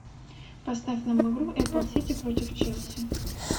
поставь нам игру апл сити против челси